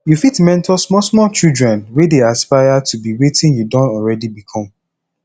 you fit mentor small small children wey dey aspire to be wetin you don already become